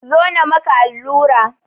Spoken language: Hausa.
Zo na maka allura!